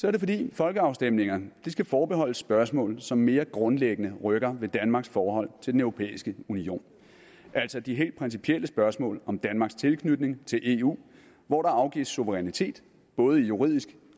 er det fordi folkeafstemninger skal forbeholdes spørgsmål som mere grundlæggende rykker ved danmarks forhold til den europæiske union altså de helt principielle spørgsmål om danmarks tilknytning til eu hvor der afgives suverænitet både i juridisk